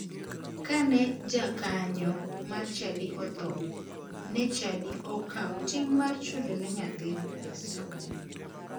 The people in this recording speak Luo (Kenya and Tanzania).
Kane jakanyo mar chadi otho, ne chadi okawo ting mar chulo ne nyathine pes somo.